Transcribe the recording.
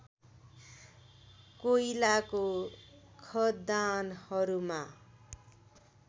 कोइलाको खदानहरूमा